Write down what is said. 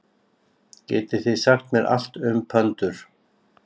Getið þið sagt mér allt um pöndur?